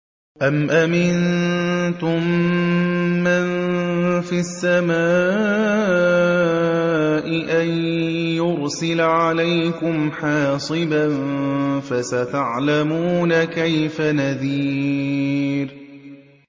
أَمْ أَمِنتُم مَّن فِي السَّمَاءِ أَن يُرْسِلَ عَلَيْكُمْ حَاصِبًا ۖ فَسَتَعْلَمُونَ كَيْفَ نَذِيرِ